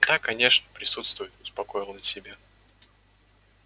да конечно присутствуют успокоил он себя